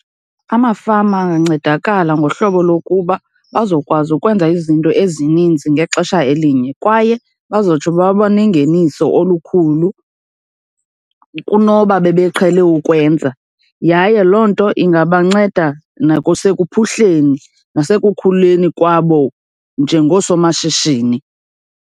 Amafama angancedakala ngohlobo lokuba bazokwazi ukwenza izinto ezininzi ngexesha elinye, kwaye bazotsho baba nengeniso olukhulu kunoba bebeqhele ukwenza. Yaye loo nto ingabanceda nakusekuphuhleni, nasekukhuleni kwabo njengoosomashishini.